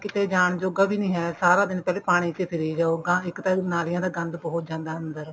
ਕਿਤੇ ਜਾਣ ਜੋਗਾ ਵੀ ਨੀ ਹੈ ਸਾਰਾ ਦਿਨ ਪਾਣੀ ਚ ਫਿਰੀ ਜਾਓ ਇੱਕ ਤਾਂ ਨਾਲੀਆਂ ਦਾ ਗੰਦ ਪਹੁੰਚ ਜਾਂਦਾ ਅੰਦਰ